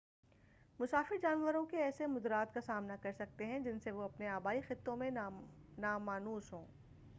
مسافر جانوروں کے ایسے مضرات کا سامنا کر سکتے ہیں جن سے وہ اپنے آبائی خطوں میں نامانوس ہوں